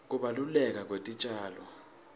kubaluleka kwetitjalo